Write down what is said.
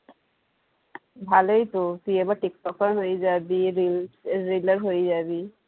ভালোই তো তুই এবার টিকটকার হয়ে যাবি reels reeler হয়ে যাবি